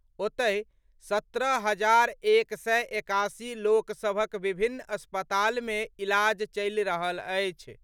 ओतहि, सत्रह हजार एक सय एकासी लोकसभक विभिन्न अस्पताल में इलाज चलि रहल अछि।